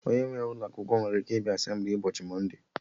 Onye nwere ụlọ akwụkwọ nwere ike ịbịa Asemblịes n'ụbọchị mọnde